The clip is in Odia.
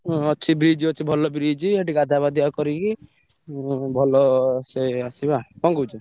ଅଛି bridge ଅଛି ଭଲ bridge ସେଠୀ ଗାଧୁଆ ପାଧୁଆ କରିକି ଉଁ ଭଲ ସେ ଆସିବା କଣ କହୁଛୁ?